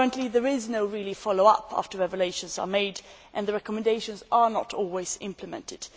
There is no real follow up at this time after evaluations are made and the recommendations are not always implemented.